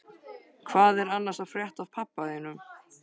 Hvað er annars að frétta af pabba þínum?